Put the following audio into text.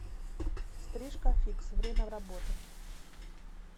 стрижка фикс время работы